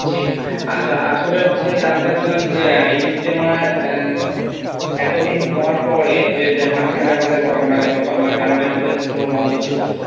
জি আচ্ছা আসলে হচ্ছে জানতে চাচ্ছিলাম যে ইজতেমা এতদিন হওয়ার পরে যে মাঝখানে আমাদের করোনা গেলো করোনার কারণে আমাদের ইজতেমা বন্ধ ছিল।